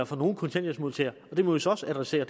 for nogle kontanthjælpsmodtagere og det må vi så også adressere